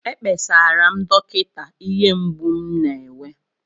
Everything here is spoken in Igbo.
Ekpesara m dọkịta ihe mgbu m na-enwe